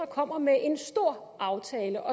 kommer med en stor aftale